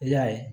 I y'a ye